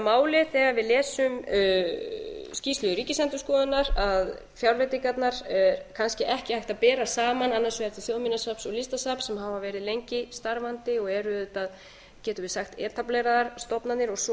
auðvitað máli þegar við lesum skýrslu ríkisendurskoðunar að fjárveitingarnar kannski ekki hægt að bera saman annars vegar til þjóðminjasafns og listasafns sem hafa verið lengi starfandi og eru auðvitað getum við sagt etableraðar stofnanir og svo